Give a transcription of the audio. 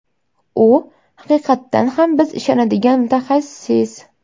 U haqiqatan ham biz ishonadigan mutaxassis.